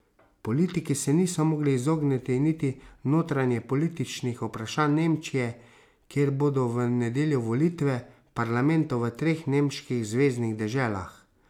Politiki se niso mogli izogniti niti notranjepolitičnih vprašanj Nemčije, kjer bodo v nedeljo volitve parlamentov v treh nemških zveznih deželah.